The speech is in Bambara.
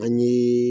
Ani